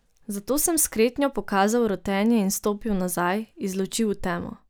Zato sem s kretnjo pokazal rotenje in stopil nazaj, iz luči v temo.